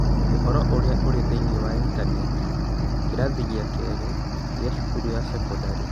Ũhoro ũrĩa ũrĩ thĩinĩ wa Intaneti (kĩrathi gĩa kerĩ gĩa cukuru ya thekondarĩ)